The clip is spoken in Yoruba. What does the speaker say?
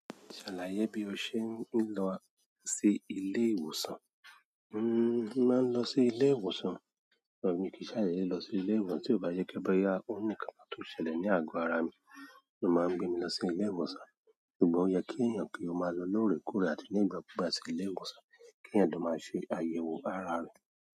Ṣàlàyé bí o ṣe ń lọ sí ilé ìwòsàn. N o máa ń lọ sí ilé ìwòsàn, òun mi kì í ṣàlàyé lọ sí ilé ìwòsàn tí ó bá yẹ kí boyá. Ó ní ká máa tó ṣẹlẹ̀ ní àgọ ara mi, ó máa ń gbé mi lọ sí ilé ìwòsàn. Àbí ó yẹ kí èèyàn kí ó máa lọ lóore kóòró àti ní ìgbà ku ìgbà sí ilé ìwòsàn kí èèyàn lọ máa ṣe àyẹ̀wò ara rẹ̀.